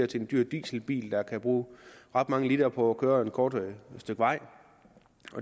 til en dyr dieselbil der kan bruge ret mange liter på at køre et kort stykke vej